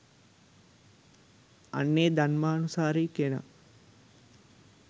අන්න ඒ ධම්මානුසාරී කෙනා